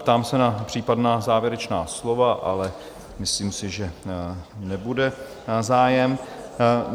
Ptám se na případná závěrečná slova, ale myslím si, že nebude zájem.